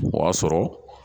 O y'a sɔrɔ